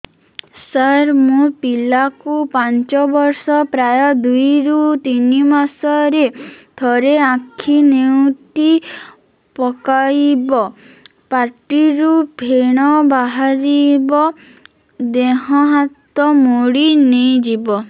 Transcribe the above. ସାର ମୋ ପିଲା କୁ ପାଞ୍ଚ ବର୍ଷ ପ୍ରାୟ ଦୁଇରୁ ତିନି ମାସ ରେ ଥରେ ଆଖି ନେଉଟି ପକାଇବ ପାଟିରୁ ଫେଣ ବାହାରିବ ଦେହ ହାତ ମୋଡି ନେଇଯିବ